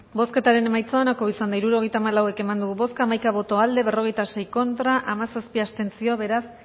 bozketaren emaitza onako izan da hirurogeita hamalau eman dugu bozka hamaika boto aldekoa berrogeita sei contra hamazazpi abstentzio beraz